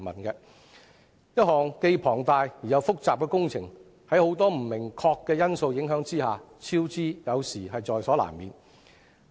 一項既龐大又複雜的工程，在很多不明確的因素影響之下，超支有時候是在所難免。